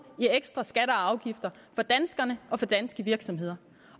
i ekstra skatter og afgifter fra danskerne og fra danske virksomheder